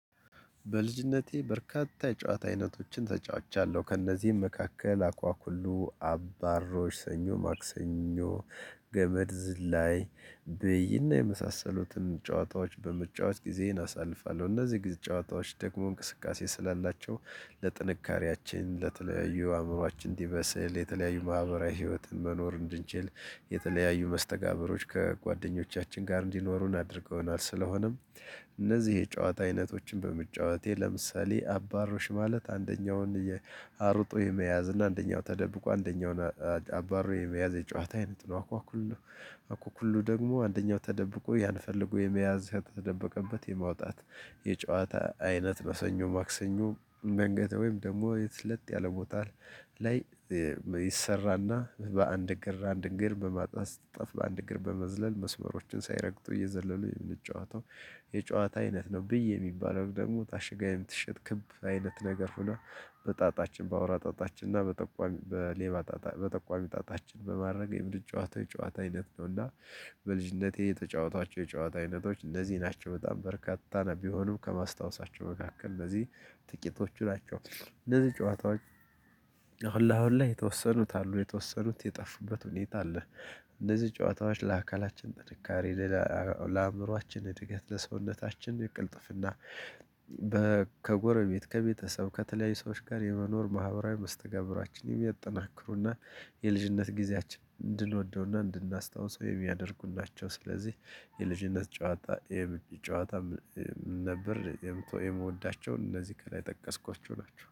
በልጅነቴ በርካታ የጨዋታ አይነቶችን ተጫውቻለሁ ከእነዚህም መካከል አኳኩሉ አባሮች ሰኞ ማክሰኞ ገመድ ዝላይ ብይና የመሳሰሉትን ጨዋታዎች በመጫወት ጊዜን አሳልፋለሁ። እነዚህ ጊዜ ጨዋታዎች ደግሞ እንቅስቃሴ ስላላቸው ለጥንካሬያችን ለተለያዩ አእምሮአችን እንዲመስል የተለያዩ ማህበራዊ ህይወትን መኖር እንድንችል የተለያዩ መስተጋብሮች ከጓደኞቻችን ጋር እንዲኖሩን አድርገውናል። ስለሆነም እነዚህ የጨዋታ አይነቶችን በመጫወቴ ለምሳሌ አባሮሽ ማለት አንደኛውን አርጦ የመያዝ እና አንደኛው ተደብቆ አንደኛውን አባሮ የመያዝ የጨዋታ አይነት ነው። አኳኩሉ አኳኩሉ ደግሞ አንደኛው ተደብቆ ያን ፈልጎ የመያዝ የተደበቀበት የማውጣት። የጨዋታ አይነት ሰኞ ማክሰኞ መንገድ ወይም ደግሞ የተ ለጠ ቦታ ላይ ይሰራና በአንድ እግር አንድ እግር በማጥፋ ጠፍ በአንድ እግር በመዝለል መስመሮችን ሳይረግጡ እየዘለሉ የምንጨዋታው የጨዋታ አይነት ነው። ብይ የሚባለው ደግሞ ታሽጋ የምትሸጥ ክብ አይነት ነገር ሆኖ በጣጣችን በአውራ ጣጣችን እና በጠቋሚ በሌባ ጣጣ በጠቋሚ ጣጣችን በማድረግ የምድር ጨዋታ ጨዋታ አይነት ነውና። በልጅነቴ የተጫወቷቸው የጨዋታ አይነቶች እነዚህ ናቸው። በጣም በርካታ ነው ቢሆኑም ከማስታወሳቸው መካከል እነዚህ ጥቂቶቹ ናቸው። እነዚህ ጨዋታዎች ሁሉ አሁን ላይ የተወሰኑት አሉ የተወሰኑት የጠፉበት ሁኔታ አለ። እንደዚህ ጨዋታዎች ለአካላችን ጥንካሬ ለአእምሮአችን እድገት ለሰውነታችን ለቅልጥፍና ከጎረቤት ከቤተሰብ ከተለያዩ ሰዎች ጋር የመኖር ማህበራዊ መስተጋብራችንን የሚያጠናክሩና የልጅነት ጊዜያችን እንድንወደውና እንድናስታውሰው የሚያደርጉ ናቸው። ስለዚህ የልጅነት ጨዋታ የሚጨዋታ ጨዋታ ነበር የምት የምወዳቸውን እነዚህ ከላይ ጠቀስኳቸው ናቸው